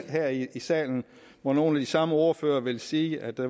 her i salen hvor nogle af de samme ordførere ville sige at der